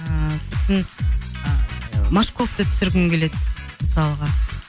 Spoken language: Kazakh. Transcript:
ыыы сосын ы машковты түсіргім келеді мысалға